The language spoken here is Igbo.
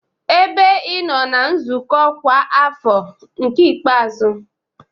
Ebe ị nọ na nzukọ ọkwa afọ ikpeazụ?